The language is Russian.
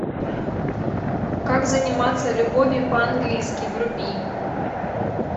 как заниматься любовью по английски вруби